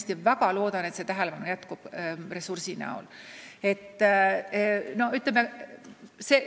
Ma väga loodan, et see tähelepanu väljendub ka ressursi eraldamise näol.